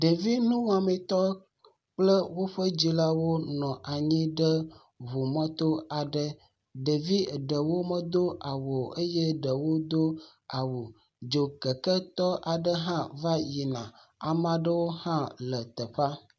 Ɖevinuwɔmetɔ kple woƒe dzilawo wɔ nɔ anyi ɖe ŋu mɔ to aɖe. Ɖevi eɖewo me do awu o eye ɖe wo do awu. Dzokeke tɔ aɖe va yina. Ame aɖewo ha le teƒe.